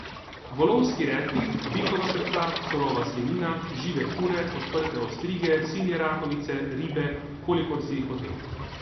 Volovski repi, bikova srca, surova svinjina, žive kure, odprte ostrige, sinje rakovice, ribe, kolikor si jih hotel.